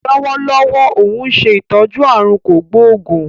Lọ́wọ́lọ́wọ́ óun ṣe ìtọ́jú aàrùn kò gbóògún